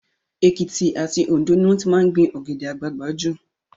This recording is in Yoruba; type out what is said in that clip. Èkìtì àti Òndó ni wọ́n ti máa ń gbin Ọ̀gẹ̀dẹ̀ àgbagbà jù